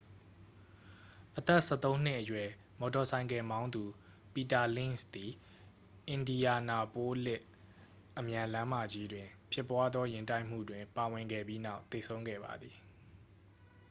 အသက်-၁၃-နှစ်အရွယ် မော်တော်ဆိုင်ကယ်မောင်းသူ ပီတာလင့်ဇ်သည် အင်ဒီယာနာပိုးလစ် အမြန်လမ်းမကြီးတွင်ဖြစ်ပွားသော ယာဉ်တိုက်မှုတွင်ပါဝင်ခဲ့ပြီးနောက် သေဆုံးခဲ့ပါသည်။